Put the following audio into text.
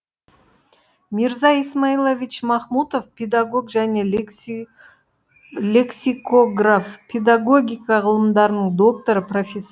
мирза исмаилович махмутов педагог және лексикограф педагогика ғылымдарының докторы профессор